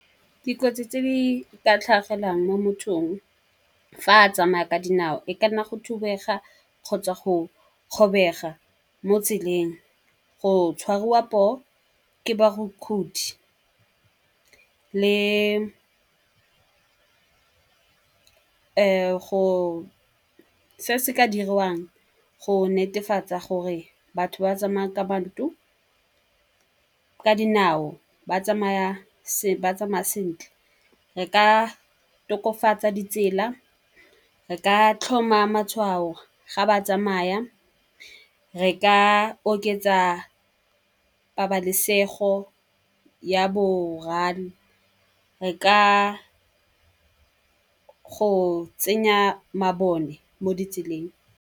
Dikotsi tse di ka tlhagelang mo mothong fa a tsamaya ka dinao, e kana go thubega kgotsa go kgobega mo tseleng, go tshwarwa poo ke le go se se ka dirwang go netefatsa gore batho ba tsamaya ka dinao ba tsamaya sentle. Re ka tokafatsa ditsela, re ka tlhoma matshwao ga ba tsamaya, re ka oketsa pabalesego ya , re ka go tsenya mabone mo ditseleng.